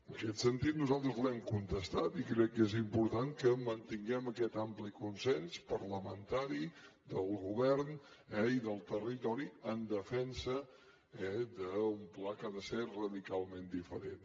en aquest sentit nosaltres l’hem contestat i crec que és important que mantinguem aquest ampli consens parlamentari del govern eh i del territori en defensa d’un pla que ha de ser radicalment diferent